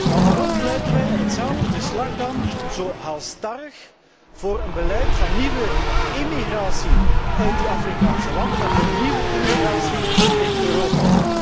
Maar waarom pleiten wij in hetzelfde verslag dan zo halsstarrig voor een beleid van nieuwe emigratie uit de Afrikaanse landen en voor nieuwe immigratie in Europa?